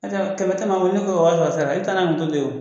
kɛmɛ kɛmɛ wari sɔrɔ sisan taa to yen.